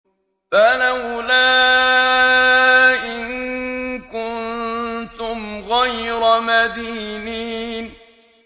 فَلَوْلَا إِن كُنتُمْ غَيْرَ مَدِينِينَ